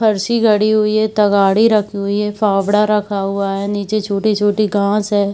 फर्सी गड़ी हुई है तगाड़ी रखी हुई हैफावड़ा रखा हुआ हैनीचे छोटी-छोटी घास है।